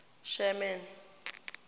sherman